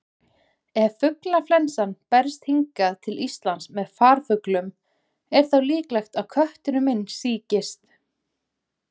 Ef fuglaflensan berst hingað til Íslands með farfuglum, er þá líklegt að kötturinn minn sýkist?